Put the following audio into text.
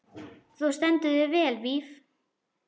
Þú stendur þig vel, Víf!